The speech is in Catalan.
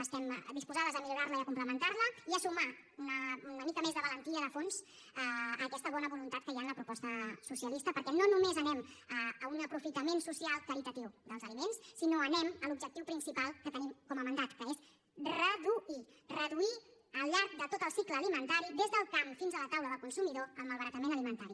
estem disposades a millorarla i a complementarla i a sumar una mica més de valentia de fons a aquesta bona voluntat que hi ha en la proposta socialista perquè no només anem a un aprofitament social caritatiu dels aliments sinó que anem a l’objectiu principal que tenim com a mandat que és reduir al llarg de tot el cicle alimentari des del camp fins a la taula del consumidor el malbaratament alimentari